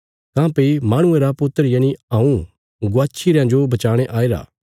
काँह्भई माहणुये रा पुत्र यनि हऊँ गवाच्छी रयां जो बचाणे आईरा